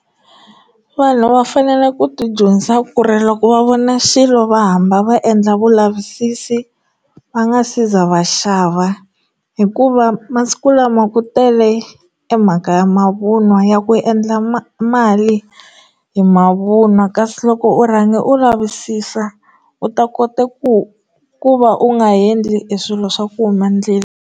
Vanhu va fanele ku ti dyondzisa ku ri loko va vona xilo va hamba va endla vulavisisi va nga si za va xava hikuva masiku lama ku tele e mhaka ya mavunwa ya ku endla mali hi mavunwa kasi loko u rhanga u lavisisa u ta kota ku ku va u nga endli swilo swa ku huma ndlela.